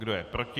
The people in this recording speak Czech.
Kdo je proti?